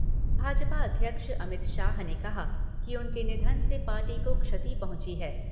भाजपा अध्यक्ष अमित शाह ने कहा कि उनके निधन से पार्टी को क्षति पहुँची है।